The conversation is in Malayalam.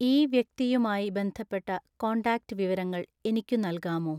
ഈ വ്യക്തിയുമായി ബന്ധപ്പെട്ട കോൺടാക്റ്റ് വിവരങ്ങൾ എനിക്കു നല്കാമോ